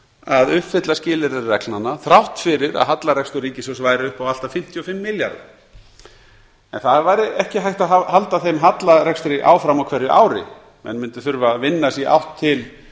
að uppfylla skilyrði reglnanna þrátt fyrir að hallarekstur ríkissjóðs væri upp á allt að fimmtíu og fimm milljarða en það væri ekki hægt að halda þeim hallarekstri áfram á hverju ári menn mundu þurfa að vinna sig í átt til